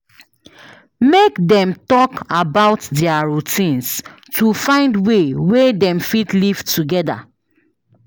Make dem talk about dia routines to find way wey dem fit live togeda.